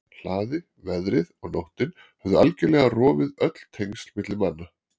hlaði, veðrið og nóttin höfðu algjörlega rofið öll tengsl milli manna.